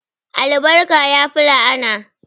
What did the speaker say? Albarka yafi la'ana